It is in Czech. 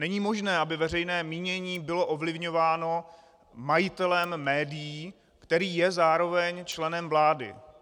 Není možné, aby veřejné mínění bylo ovlivňováno majitelem médií, který je zároveň členem vlády.